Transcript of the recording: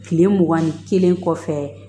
Kile mugan ni kelen kɔfɛ